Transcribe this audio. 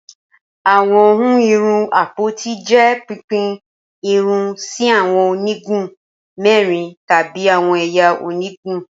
Awọn ihun irun apoti jẹ pipin irun si awọn onigun mẹrin tabi awọn ẹya onigun